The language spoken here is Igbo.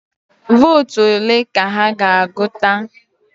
Vootu ole ka ha ga-agụta?